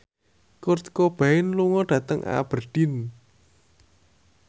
Kurt Cobain lunga dhateng Aberdeen